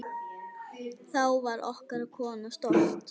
Þá var okkar kona stolt.